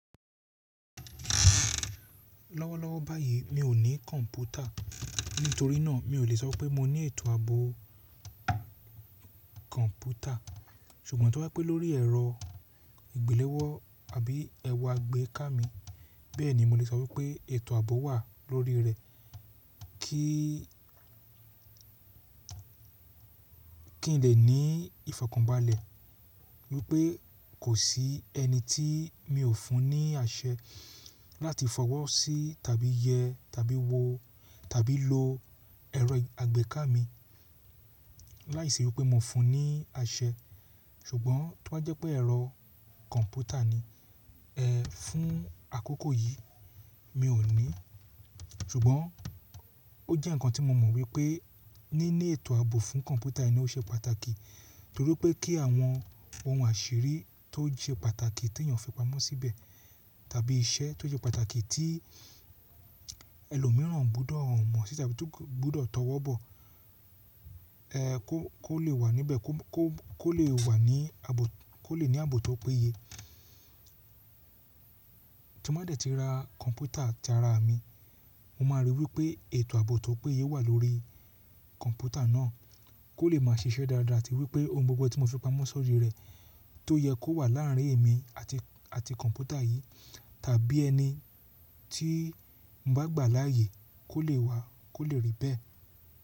Lọ́wọ́lọ́wọ́ báyìí mi ò ní kọ̀ǹpútà, nítorí náà mi ò lè sọ pé mo ní ètò ààbò kọ̀ǹpútà, ṣùgbọ́n tí wọ́n bá pẹ́ lórí ẹ̀rọ ìgbéléwọ́ tàbí ẹ̀rọ àgbéká mi, bẹ́ẹ̀ni mo lè sọ wípé ètò ààbò wà lórí rẹ. Kí n lè ní ìfọ̀kànbalẹ̀ wípé kò sí ẹni tí mi ò fún ní àṣẹ láti fọwọ́ sí tàbí yẹ tàbí wo tàbí lo ẹ̀rọ àgbéká mi láìsíwípé mo fún un ní àṣẹ. Ṣùgbọ́n tí o ba jẹ́ pé ẹ̀rọ computer ni, ẹ fún àkókò yìí mi ò ní, ṣùgbọ́n ó jẹ́ ǹkan tí mo mọ̀ wípé níní ètò ààbò fún kọ̀ǹpútà eni ó ṣe pàtàkì torí pé kí àwọn ohun àṣírí tó se pàtàkì tí èèyàn fi pamọ́ síbẹ̀ tàbí iṣẹ́ tó jẹ́ pàtàkì tí ẹlòmíràn gbọ́dọ̀ mọ̀ sí tàbí ti ko gbọ́dọ̀ tọwọ́ bọ̀, ẹ kó lè wà níbẹ̀, kó lè wà ní ààbò ko le ni aabo tó péye. Tí mo bá dẹ̀ ti ra kọ̀ǹpútà tara mi, mo máa ríi wípé ètò ààbò tó péye wà lórí kọ̀ǹpútà náà kó lè máa ṣiṣẹ́ dáadáa tí wípé ohun gbogbo tí mo fi pamọ́ sórí rẹ̀ tó yẹ kó wà láàrin èmi àti kọ̀ǹpútà yìí tàbí ẹni tí n bá gbà láàyè kó lè wà kó lè rí bẹ́ẹ̀.